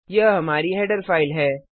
यह हमारी header file है